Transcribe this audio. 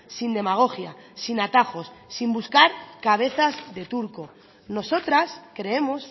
sin demagogia sin atajos sin buscar cabezas de turco nosotras creemos